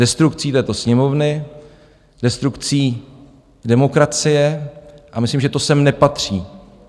Destrukcí této Sněmovny, destrukcí demokracie a myslím, že to sem nepatří.